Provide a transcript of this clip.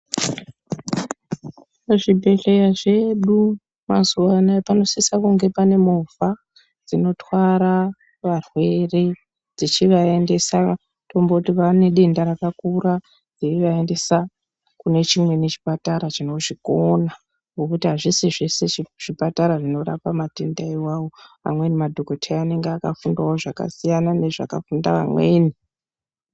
Muzvibhedhleya zvedu, mazuvaanaya panosisa kunge pane movha dzinotwara varwere dzichivaendesa, tomboti pane denda rakakura, dzeyivaendesa kune chimweni chipatara chinozvikona ,ngekuti azvisi zveshe zvipatara zvinorapa matenda iwawo, amweni madhokodheya anenge akafundawo zvakasiyana nezvakafunda vamweni.